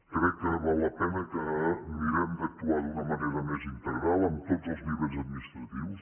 crec que val la pena que mirem d’actuar d’una manera més integral en tots els nivells administratius